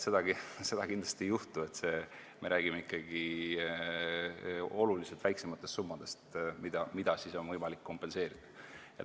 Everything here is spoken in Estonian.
Seda kindlasti ei juhtu, me räägime ikkagi oluliselt väiksematest summadest, mida on võimalik kompenseerida.